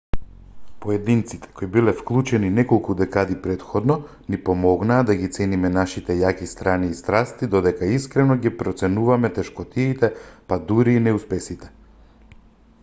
поединците кои биле вклучени неколку декади претходно ни помогнаа да ги цениме нашите јаки страни и страсти додека искрено ги проценуваме тешкотиите па дури и неуспесите